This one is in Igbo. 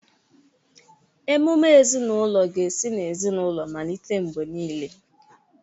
Ememe ezinaụlọ ga-esi n'ezinaụlọ malite mgbe niile.